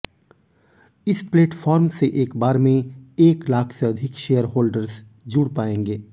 इस प्लेटफॉर्म से एक बार में एक लाख से अधिक शेयर होल्डर्स जुड़ पाएंगे